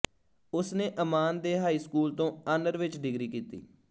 ਉਸ ਨੇ ਅਮਾਨ ਦੇ ਹਾਈ ਸਕੂਲ ਤੋਂ ਆਨਰ ਵਿੱਚ ਡਿਗਰੀ ਕੀਤੀ